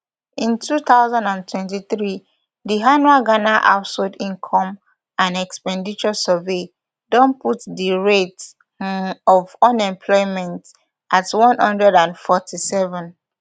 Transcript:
in two thousand and twenty-three di annual ghana household income and expenditure survey don put di rate um of unemployment at one hundred and forty-seven